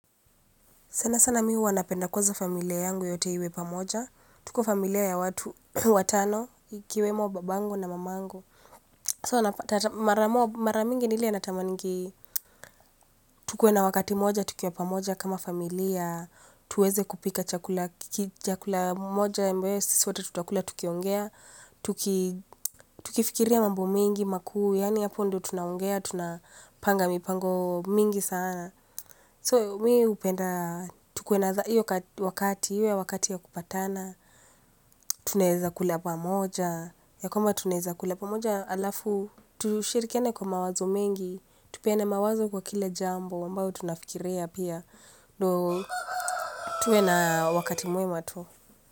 Sana sana mi huwa napenda kwanza familia yangu yote iwe pamoja. Tuko familia ya watu, watano, ikiwemo babangu na mamangu. So mara mingi ni ile natamaningi, tukuwe na wakati mmoja, tukiwa pamoja kama familia, tuweze kupika chakula, chakula moja, ambayo sisi wote tutakula, tukiongea, tukifikiria mambo mingi, makuu, yaani hapo ndio tunaongea, tunapanga mipango mingi sana. So mi hupenda, tukuwe na hiyo wakati, iwe wakati wa kupatana, tunaeza kula pamoja, ya kwamba tunaeza kula pamoja halafu, tushirikiane kwa mawazo mengi, tupeane mawazo kwa kila jambo, ambayo tunafikiria pia, tuwe na wakati mwema tu.